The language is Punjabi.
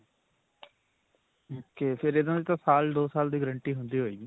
ok. ਫਿਰ ਇਨ੍ਹਾਂ ਦੀ ਤਾਂ ਸਾਲ ਦੋ ਸਾਲ ਦੀ guarantee ਹੁੰਦੀ ਹੋਵੇਗੀ?